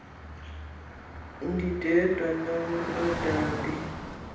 yemoto ndindedwa nodade